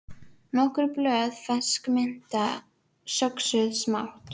Hvert fótmál olli henni nærri óbærilegum sársauka.